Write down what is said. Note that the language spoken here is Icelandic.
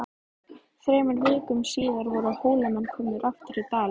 Þremur vikum síðar voru Hólamenn komnir aftur í Dali.